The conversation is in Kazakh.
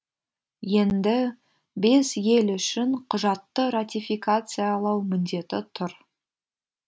енді бес ел үшін құжатты ратификациялау міндеті тұр